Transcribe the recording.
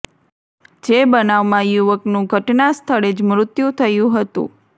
જે બનાવમાં યુવકનું ઘટના સ્થળે જ મૃત્યુ થયું હતું